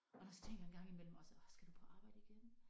Og så tænker jeg en gang imellem også åh skal du på arbejde igen